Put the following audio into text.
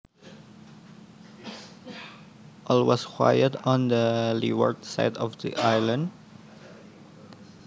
All was quiet on the leeward side of the island